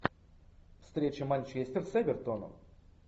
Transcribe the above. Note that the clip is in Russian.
встреча манчестер с эвертоном